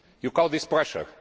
You call that pressure?